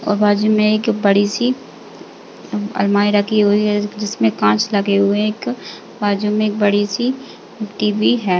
और बाजू में एक बड़ी सी अलमारी रखी हुई है जिसमे कांच लगे हुए हैं एक बाजु में एक बड़ी सी टीवी है।